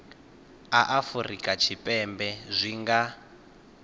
a afurika tshipembe zwi nga